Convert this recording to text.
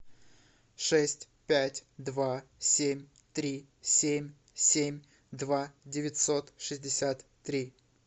шесть пять два семь три семь семь два девятьсот шестьдесят три